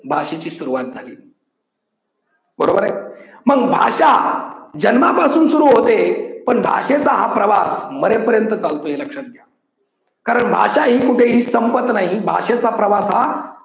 भाषेची सुरुवात झाली बरोबरंय. मग भाषा जन्मापासून सुरू होते पण भाषेचा हा प्रवास मरेपर्यंत चालतो हे लक्षात घ्या. कारण भाषा ही कुठेही संपत नाही. भाषेचा प्रवास हा